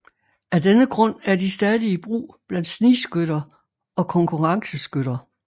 Af denne grund er de stadig i brug blandt snigskytter og konkurrenceskytter